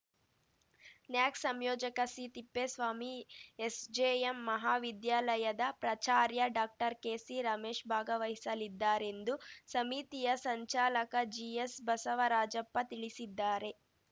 ನ್ಯಾಕ್‌ ಸಂಯೋಜಕ ಸಿತಿಪ್ಪೇಸ್ವಾಮಿ ಎಸ್‌ಜೆಎಂ ಮಹಾವಿದ್ಯಾಲಯದ ಪ್ರಾಚಾರ್ಯ ಡಾಕ್ಟರ್ಕೆಸಿ ರಮೇಶ್‌ ಭಾಗವಹಿಸಲಿದ್ದಾರೆಂದು ಸಮಿತಿಯ ಸಂಚಾಲಕ ಜಿಎಸ್ ಬಸವರಾಜಪ್ಪ ತಿಳಿಸಿದ್ದಾರೆ